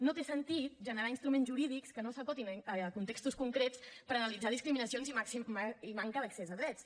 no té sentit generar instruments jurídics que no s’acotin a contextos concrets per analitzar discriminacions i manca d’accés a drets